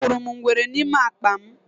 Ahụrụ m ngwere n’ime akpa m.